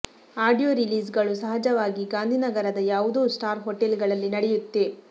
audio release ಗಳು ಸಹಜವಾಗಿ ಗಾಂಧಿನಗರದ ಯಾವುದೋ ಸ್ಟಾರ್ ಹೊಟೆಲ್ ಗಳಲ್ಲಿ ನಡೆಯುತ್ತೆ